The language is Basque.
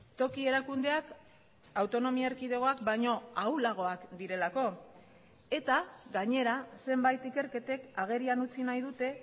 toki erakundeak autonomia erkidegoak baino ahulagoak direlako eta gainera zenbait ikerketek agerian utzi nahi dute